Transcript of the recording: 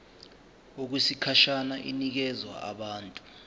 okwesikhashana inikezwa abantu